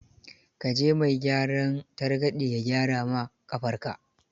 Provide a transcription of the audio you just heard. Ka je mai gyaran targaɗe ya gyara ma ƙafarka.